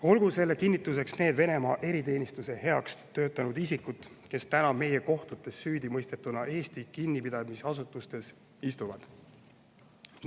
Olgu selle kinnituseks need Venemaa eriteenistuse heaks töötanud isikud, kes täna meie kohtutes süüdimõistetuna Eesti kinnipidamisasutustes istuvad.